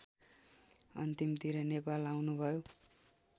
अन्तिमतिर नेपाल आउनुभयो